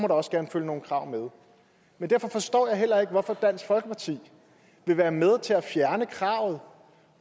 også gerne følge nogle krav med men derfor forstår jeg heller ikke hvorfor dansk folkeparti vil være med til at fjerne kravet